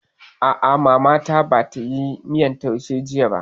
A'a, Mama ta ba tayi miyan taushe jiya ba